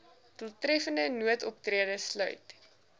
doeltreffende noodoptrede sluit